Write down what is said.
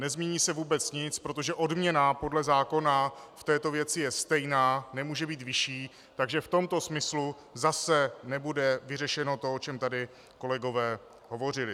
Nezmění se vůbec nic, protože odměna podle zákona v této věci je stejná, nemůže být vyšší, takže v tomto smyslu zase nebude vyřešeno to, o čem tady kolegové hovořili.